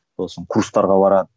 сосын курстарға барады